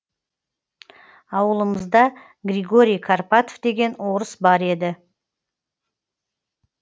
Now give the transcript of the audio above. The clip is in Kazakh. ауылымызда григорий карпатов деген орыс бар еді